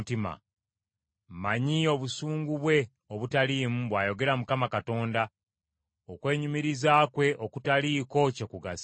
Mmanyi obusungu bwe obutaliimu,” bw’ayogera Mukama Katonda, “okwenyumiriza kwe okutaliiko kye kugasa.